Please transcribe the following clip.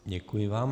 Děkuji vám.